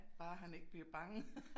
Bare han ikke bliver bange